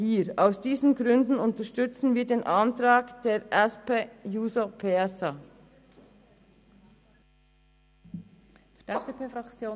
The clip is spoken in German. Aus diesen Gründen unterstützen wir den Antrag der SP-JUSO-PSA-Fraktion.